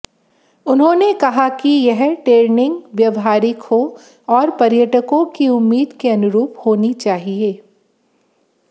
उन्होंने कहा कि यह टे्रनिंग व्यवहारिक हो और पर्यटकों की उम्मीदों के अनुरूप होनी चाहिए